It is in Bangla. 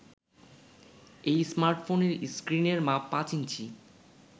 এই স্মার্টফোনের স্ক্রিনের মাপ পাঁচ ইঞ্চি